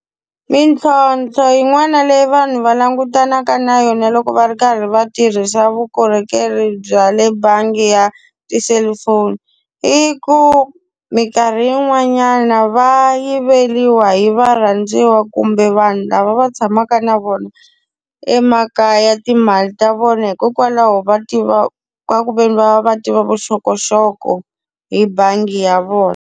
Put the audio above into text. Mintlhontlho yin'wana leyi vanhu va langutanaka na yona loko va ri karhi va tirhisa vukorhokeri bya le bangi ya tiselifoni, i ku minkarhi yin'wanyana va yiveriwa hi varhandziwa kumbe vanhu lava va tshamaka na vona, emakaya timali ta vona hikokwalaho va tiva ka ku ve ni va va va tiva vuxokoxoko hi bangi ya vona.